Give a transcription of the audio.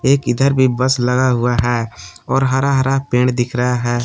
एक इधर भी बस लगा हुआ है और हरा हरा पेड़ दिख रहा है।